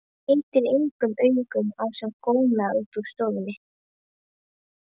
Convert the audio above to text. Skeytir engu um augu sem góna á hann úr stofunni.